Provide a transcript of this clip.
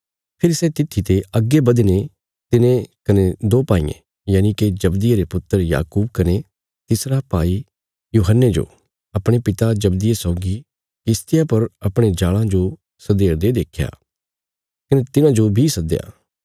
फेरी सै तित्थी ते अग्गे बधीने तिने कने दो भाईयें यनिके जब्दिये रे पुत्र याकूब कने तिसरा भाई यूहन्ने जो अपणे पिता जब्दिये सौगी किश्तिया पर अपणे जाल़ां जो सधेरदे देख्या कने तिन्हांजो बी सद्दया